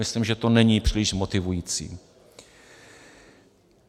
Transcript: Myslím, že to není příliš motivující.